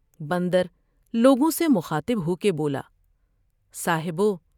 بندرلوگوں سے مخاطب ہو کے بولا" صاحبو!